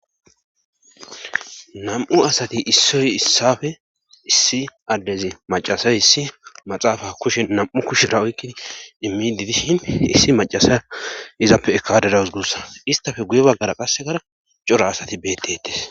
nam'u asati issoy issafe issi addezi macasay issi maxaafa kushe nam7u kushira oykkidi immi di dishin issi macasay izappe ekadera usgussa istafe guye baggara qassegara cora asati beettetes